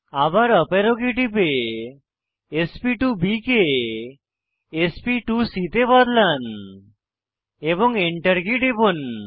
আবার up arrow key টিপে sp2বি কে sp2সি তে বদলান এবং Enter কী টিপুন